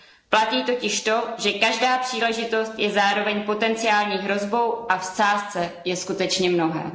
Platí totiž to, že každá příležitost je zároveň potencionální hrozbou, a v sázce je skutečně mnohé.